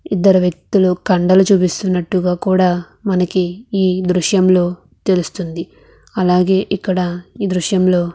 ఎదరు వక్తులు కదలు మనకు ఎ ద్ర్సుహము లో అలగేయ్ ఇక్కడ ఎ ద్రుశము లో మనకు--